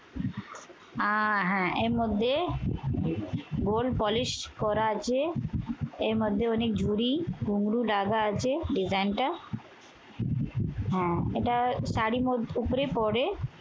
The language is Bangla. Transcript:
আহ হ্যাঁ এর মধ্যে gold polish করা আছে। এর মধ্যে অনেক ঝুড়ি, ঘুংরু লাগা আছে design টা। হ্যাঁ এটা শাড়ির উপরে পড়ে।